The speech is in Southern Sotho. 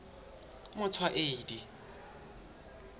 motshwaedi